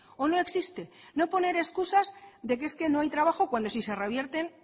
o no existe no poner excusas de que es que no hay trabajo cuando si se revierten